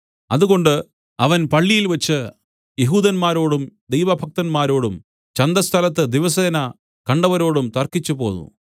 അതുകൊണ്ട് അവൻ പള്ളിയിൽവെച്ച് യെഹൂദന്മാരോടും ദൈവഭക്തന്മാരോടും ചന്തസ്ഥലത്ത് ദിവസേന കണ്ടവരോടും തർക്കിച്ചുപോന്നു